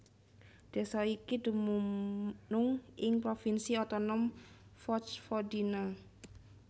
Désa iki dumunung ing provinsi otonom Vojvodina